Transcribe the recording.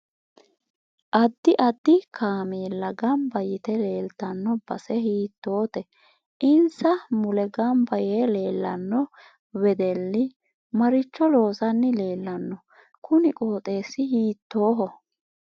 Addi addi kameella ganbba yite leeltanno base hiitoote insa mule ganbba yee leelanno wedelli maricho loosani leelanno kuni qooxeesi hiitooho